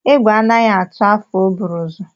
Egwu anaghị atụ afọ o buru ụzọ.